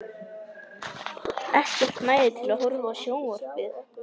Ekkert næði til að horfa á sjónvarpið.